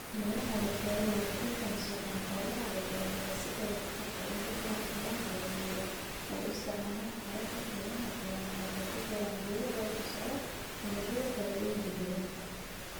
Beeraha warshaduhu waxay kala soocaan xoolaha iyo dalagyada si ay waxtarka ugu badan u helaan. Beeralayda oo isticmaalaya hababka kaymaha beeraha waxay ku beeraan geedo barbar socda dalagyada faa'iidooyinka deegaanka.